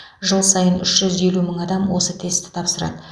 жыл сайын үш жүз елу мың адам осы тестті тапсырады